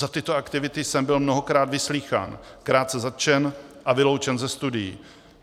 Za tyto aktivity jsem byl mnohokrát vyslýchán, krátce zatčen a vyloučen ze studií.